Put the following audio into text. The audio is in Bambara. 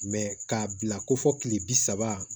k'a bila ko fɔ kile bi saba